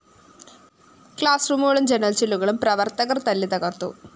class റൂമുകളും ജനല്‍ ചില്ലുകളും പ്രവര്‍ത്തകര്‍ തല്ലിത്തകര്‍ത്തു